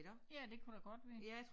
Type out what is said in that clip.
Ja det kunne da godt være